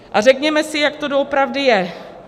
A řekněme si, jak to doopravdy je.